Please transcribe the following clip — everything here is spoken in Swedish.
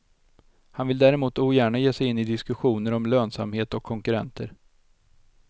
Han vill däremot ogärna ge sig in i diskussioner om lönsamhet och konkurrenter.